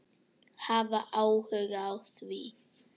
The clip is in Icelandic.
Hafa áhuga á því.